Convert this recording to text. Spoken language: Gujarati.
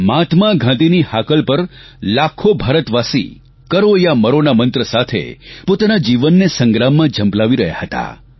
મહાત્મા ગાંધીની હાકલ પર લાખો ભારતવાસી કરો યા મરો ના મંત્ર સાથે પોતાના જીવનને સંગ્રામમાં ઝંપલાવી રહ્યા હતા